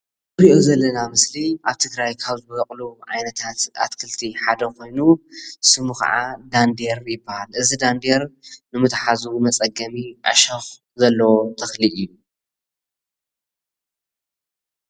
እዚ ንሪኦ ዘለና ምስሊ ኣብ ትግራይ ካብ ዝበቅሉ ዓይነታት ኣትክልቲ ሓደ ኮይኑ ስሙ ከዓ ዳንዴር ይበሃል። እዚ ዳንዴር ንምትሓዙ መፅገሚ ዕሾክ ዘለዎ ተክሊ እዩ።